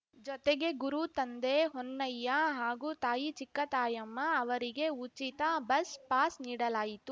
ಜೊತೆಗೆ ಗುರು ತಂದೆ ಹೊನ್ನಯ್ಯ ಹಾಗೂ ತಾಯಿ ಚಿಕ್ಕತಾಯಮ್ಮ ಅವರಿಗೆ ಉಚಿತ ಬಸ್ ಪಾಸ್ ನೀಡಲಾಯಿತು